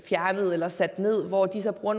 fjernet eller sat ned hvor de så bruger